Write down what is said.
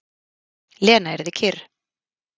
Lena yrði kyrr.